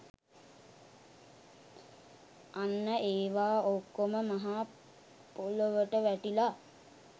අන්න ඒවා ඔක්කොම මහ පොළොවට වැටිලා